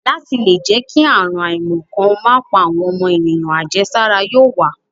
Láti le dí kí àrùn àìmọ̀ kan má pa àwọn ọmọ ènìyàn, àjẹsára yóò wà.